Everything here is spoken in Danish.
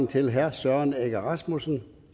til herre søren egge rasmussen